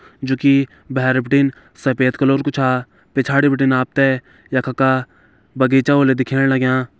जू की भैर बिटिन सफ़ेद कलर कू छ पिछाड़ी बिटिन आप त यखख का बगीचा होला दिखेण लग्यां।